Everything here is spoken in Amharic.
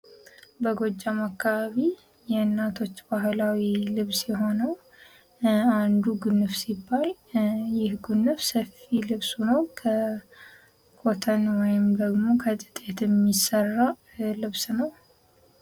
በጎጃም አካባቢ የእናቶች ባህላዊ ልብስ የሆነው አንዱ ጉንፍ ሲባል ይህ ጉንፍ ሰፊ ልብስ ሁኖ ኮተን ወይም ደግሞ ከጥጥ የሚሰራ ልብስ ነው።